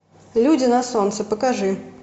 люди на солнце покажи